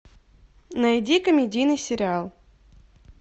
найди комедийный сериал